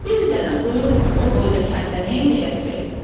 Bir dənə quyu o boyda kəndə neyləyəcək?